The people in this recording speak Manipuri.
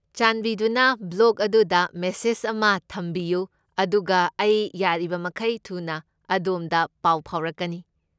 ꯆꯥꯟꯕꯤꯗꯨꯅ ꯕ꯭ꯂꯣꯒ ꯑꯗꯨꯗ ꯃꯦꯁꯦꯖ ꯑꯃ ꯊꯝꯕꯤꯌꯨ ꯑꯗꯨꯒ ꯑꯩ ꯌꯥꯔꯤꯕꯃꯈꯩ ꯊꯨꯅ ꯑꯗꯣꯝꯗ ꯄꯥꯎ ꯐꯥꯎꯔꯛꯀꯅꯤ ꯫